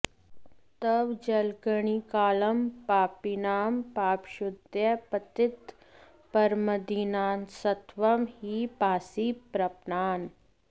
तव जलकणिकाऽलं पापिनां पापशुद्धयै पतितपरमदीनांस्त्वं हि पासि प्रपन्नान्